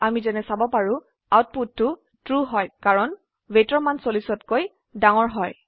আমি যেনে চাব পাৰো আউটপুটটোtrue হয় কাৰণ weightৰ মান 40 তকৈ ডাঙৰ হয়